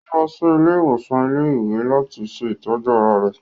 Ò lọ sí ilé-ìwòsàn ilé-ìwé làti ṣe itọju ara rẹ̀